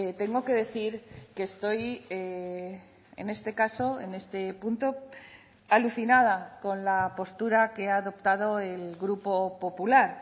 tengo que decir que estoy en este caso en este punto alucinada con la postura que ha adoptado el grupo popular